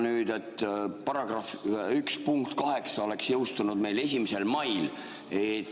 See § 1 punkt 8 oleks jõustunud meil 1. mail.